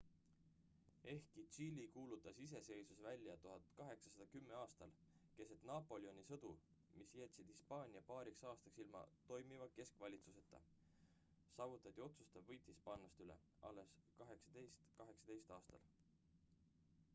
ehkki tšiili kuulutas iseseisvuse välja 1810. aastal keset napoleoni sõdu mis jätsid hispaania paariks aastaks ilma toimiva keskvalitsuseta saavutati otsustav võit hispaanlaste üle alles 1818. aastal